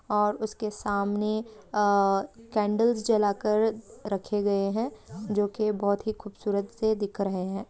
और उसके सामने आ कैंडल्स जला कर रखे गए हैं जो की बहोत ही खूबसूरत से दिख रहे हैं।